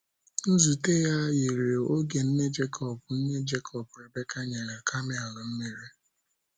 Nzute a yiri oge nne Jekọb, nne Jekọb, Rebeka, nyere kamel mmiri.